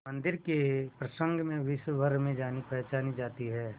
मंदिर के प्रसंग में विश्वभर में जानीपहचानी जाती है